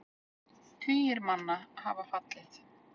Tugir manna hafa fallið.